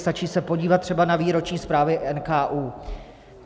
Stačí se podívat třeba na výroční zprávy NKÚ.